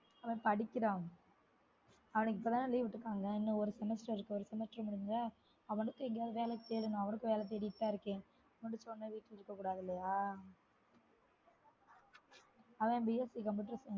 அவன் படிக்கிறான்அவனுக்கு இப்பதான leave விட்டுருக்காங்க இன்னும் ஒரு semester இருக்கு ஒரு semester முடிஞ்சா அவனுக்கும் எங்கேயாவது வேலை தேடனும் அவனுக்கும் வேலை தேடிட்டுதான் இருக்கேன் முடிச்சவுடனே வீட்ல இருக்கக்கூடாது இல்லையா அவன் B.Sc computer science